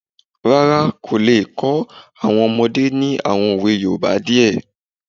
Rárá, kò le kọ́ àwọn ọmọdé ní àwọn òwe yoòbá díẹ̀